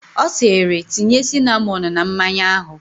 Ọ sịịrị, tinye sinamọn na mmanya ahụ!